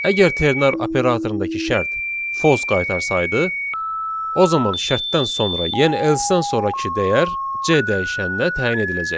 Əgər ternar operatorundakı şərt false qaytarsaydı, o zaman şərtdən sonra, yəni else-dən sonrakı dəyər C dəyişəninə təyin ediləcəkdir.